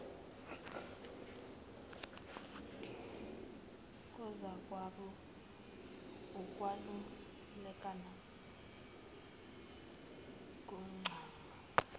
kozakwabo ukwelulekana kontanga